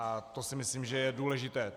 A to si myslím, že je důležité.